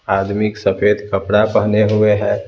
आदमी सफेद कपड़ा पहने हुए हैं।